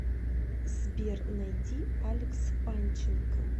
сбер найди алекс панченко